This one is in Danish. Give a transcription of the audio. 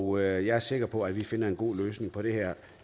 og jeg er sikker på at vi finder en god løsning på det her